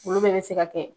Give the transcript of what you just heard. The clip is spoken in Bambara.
Olu bɛɛ bɛ se ka kɛ